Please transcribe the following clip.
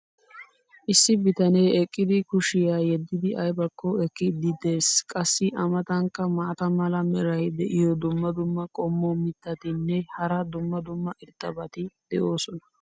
issi bitanee eqqidi kushiyaa yeddidi aybakko ekkiidi des. qassi a matankka maata mala meray diyo dumma dumma qommo mitattinne hara dumma dumma irxxabati de'oosona.